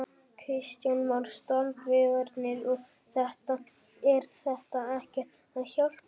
Kristján Már: Strandveiðarnar og þetta, er þetta ekkert að hjálpa ykkur?